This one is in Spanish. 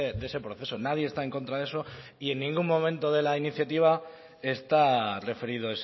de ese proceso nadie está en contra de eso y en ningún momento de la iniciativa está referido